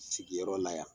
Sigiyɔrɔ la yan